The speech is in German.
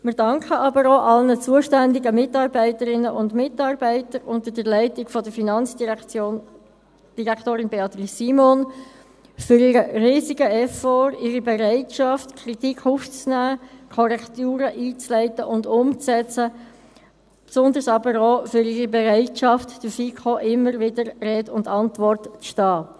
Wir danken aber auch allen zuständigen Mitarbeiterinnen und Mitarbeitern, unter der Leitung von Finanzdirektorin Beatrice Simon, für ihren riesigen Effort, ihre Bereitschaft, Kritik aufzunehmen und Korrekturen einzuleiten und umzusetzen, insbesondere auch für ihre Bereitschaft, der FiKo immer wieder Rede und Antwort zu stehen.